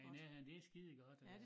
Den er ja det skidegodt øh